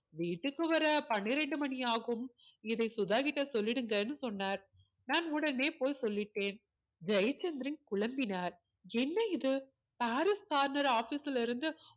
வீட்டுக்கு வர பன்னிரண்டு மணியாகும் இதை சுதா கிட்ட சொல்லிடுங்கன்னு சொன்னார் நான் உடனே போய் சொல்லிட்டேன் ஜெயசந்திரன் குழம்பினார் என்ன இது பாரிஸ் corner office ல இருந்து